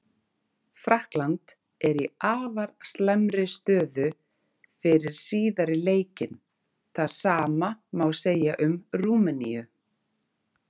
Frakkland er í afar slæmri stöðu fyrir síðari leikinn, það sama má segja um Rúmeníu.